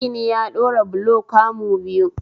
Magini ya ɗora bulo kamu biyu